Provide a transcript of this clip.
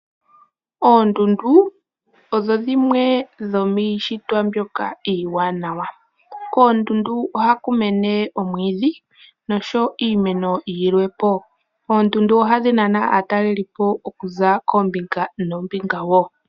Oondundu odho dhimwe dhomiishitwa mbyoka iiwanawa. Koondundu ohaku mene omwiidhi noshowo iimeno yilwepo. Oondundu ohadhi nana aatalelipo okuza koombinga noombinga woo